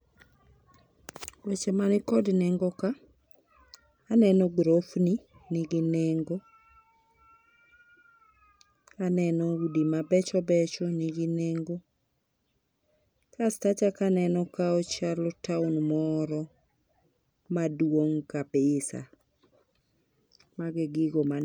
Weche man kod nengo ka aneno grofni nigi nengo. Aneno udi mabecho becho nigi nengo. Kasto achako aneno ka ochalo taon moro maduong kabisa. Mago e gigo man